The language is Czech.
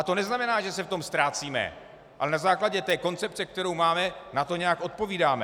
A to neznamená, že se v tom ztrácíme, ale na základě té koncepce, kterou máme, na to nějak odpovídáme.